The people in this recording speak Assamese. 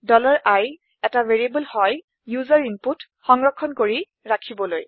i এটা ভেৰিয়েবল হয় ওচেৰ ইনপুটছ সংৰক্ষন কৰি ৰাখিবলৈ